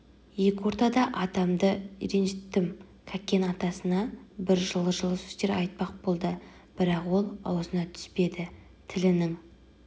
екі ортада атамды ренжіттім кәкен атасына бір жылы-жылы сөздер айтпақ болды бірақ ол аузына түспеді тілінің